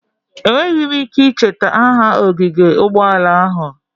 Enweghị m ike icheta aha ogige ụgbọala ahụ.